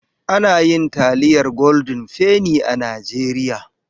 Ana yin taliyar goldin feni a Najeriya.